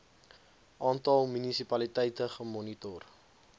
aantal munisipaliteite gemoniteer